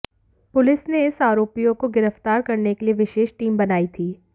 police ने इन आरोपियों को गिरफ्तार करने के लिए विशेष टीम बनाई थी